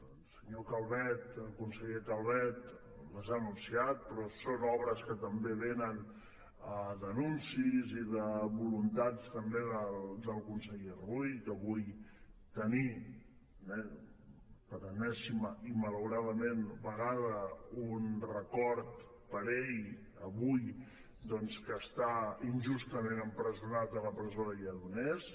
el senyor calvet el conseller calvet les ha anunciat però també són obres que també venen d’anuncis o de voluntats també del conseller rull que vull tenir per enèsima i malauradament vegada un record per ell avui doncs que està injustament empresonat a la presó de lledoners